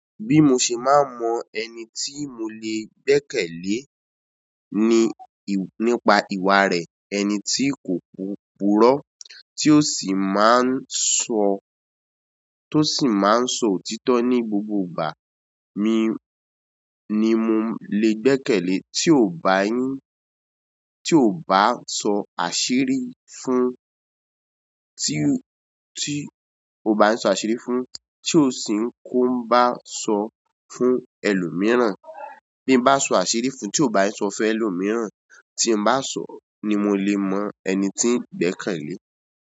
Bí mo ṣe máa n mọ ẹni tí mo le gbẹ́kẹ̀lé ní, nípa ìwà rẹ̀, ẹni tí kò pùrọ́ tí ó sì máa ń sọ, tó sì máa ń sọ òtítọ́ ní gbogbo ìgbà mi ni mo lè gbẹ́kẹ̀lé. Tí ò bá yín, tí ò bá sọ àṣírí fún, tí ò, tí ò bá ń sọ àṣírí fún, tí ò sì ń kó bá sọ fún ẹlòmíràn. Bí n bá sọ àṣírí fún, tí ò bá sọ fún ẹlòmíràn, tí n bá sọ̀ ni mo le mọ ẹni ti gbẹ́kẹ̀lé.